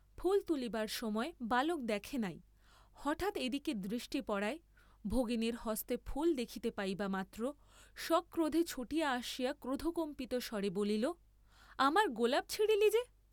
ফুল তুলিবার সময় বালক দেখে নাই; হঠাৎ এদিকে দৃষ্টি পড়ায়, ভগিনীর হস্তে ফুল দেখিতে পাইবামাত্র, সক্রোধে ছুটিয়া আসিয়া ক্রোধকম্পিত স্বরে বলিল আমার গোলাপ ছিঁড়লি যে?